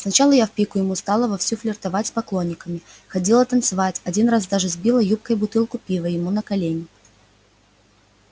сначала я в пику ему стала вовсю флиртовать с поклонниками ходила танцевать один раз даже сбила юбкой бутылку пива ему на колени